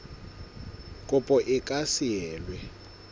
kopo e ka se elwe